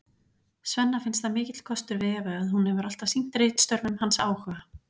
Svenna finnst það mikill kostur við Evu að hún hefur alltaf sýnt ritstörfum hans áhuga.